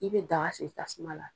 Ne bɛ daga sigitasuma la.